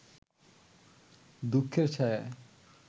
দুঃখের ছায়ায়